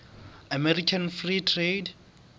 american free trade